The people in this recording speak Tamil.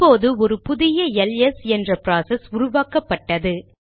இப்போது ஒரு புதிய எல்எஸ் என்ற ப்ராசஸ் உருவாக்கப்பட்டது